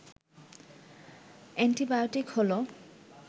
antibiotic হল